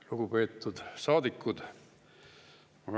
Lugupeetud saadikud!